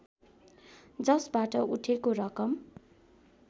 जसबाट उठेको रकम